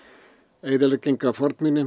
eyðilegging á fornminjum